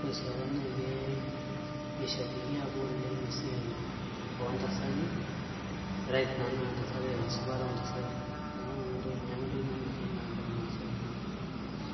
ore sii apa naa ke kishabikia apa oleng' esiai oontasati rights naa ashu esipata oontasati neeku ninye apa entoki nanyorie irmaasai.